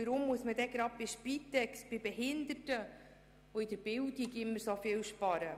Weshalb muss man gerade bei der Spitex, bei Behinderten oder bei der Bildung immer so viel sparen?